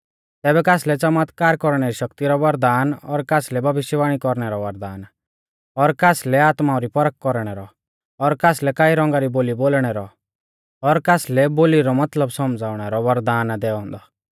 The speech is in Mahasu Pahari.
तैबै कासलै च़मतकार कौरणै री शक्ति रौ वरदान और कासलै भविष्यवाणी कौरणै रौ वरदान और कासलै आत्माऊं री परख कौरणै रौ और कासलै कई रौंगा री बोली बोलणै रौ और कासलै बोली रौ मतलब सौमझ़ाउणा रौ वरदान ई दैऔ औन्दै